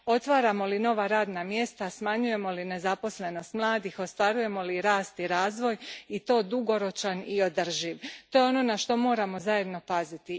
Otvaramo li nova radna mjesta, smanjujemo li nezaposlenost mladih, ostvarujemo li rast i razvoj i to dugoročan i održiv, to je ono na što moram zajedno paziti.